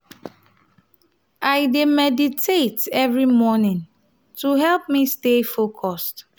i dey meditate every morning to help me stay focused.